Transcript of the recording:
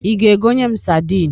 Ị ga-egonye m sadịn?